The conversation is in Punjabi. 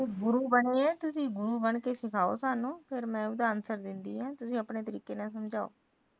ਤੁਸੀ ਗੁਰੂ ਬਣੇ ਤੁਸੀ ਗੁਰ ਬਣਕੇ ਸਿਖਾਓ ਸਾਨੂੰ ਫਿਰ ਮੈ ਉਸਦਾ ਆਨਸਰ ਦਿੰਦੀ ਆ ਤੁਸੀ ਆਪਣੇ ਤਰੀਕੇ ਨਾਲ ਸਮਝਾਓ